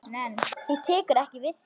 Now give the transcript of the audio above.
Hún tekur ekki við því.